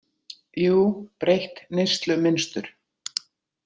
Jú, breytt neyslumynstur.